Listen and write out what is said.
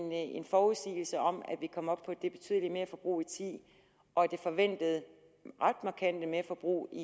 forudsigelse om at vi kom op på det betydelige merforbrug og ti og det forventede ret markante merforbrug i